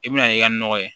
I bɛna n'i ka nɔgɔ ye